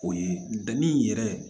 O ye danni yɛrɛ